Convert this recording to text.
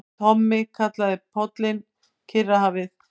Tommi kallaði pollinn Kyrrahafið.